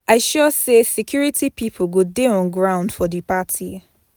I sure sey security pipo go dey on ground for di party.